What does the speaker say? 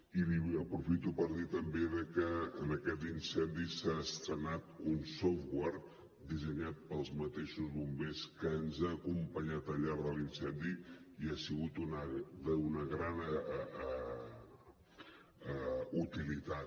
i aprofito per dir també que en aquest incendi s’ha estrenat un software dissenyat pels mateixos bombers que ens ha acompanyat al llarg de l’incendi i ha sigut d’una gran utilitat